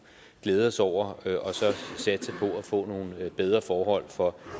glæde os over og at få nogle bedre forhold for